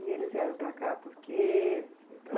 E eles vieram para cá por quê...?